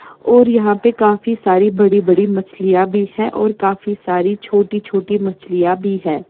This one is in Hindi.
और यहाँ पे काफी सारी बड़ी-बड़ी मछलियां भी है और काफी सारी छोटी छोटी मछलियां भी है।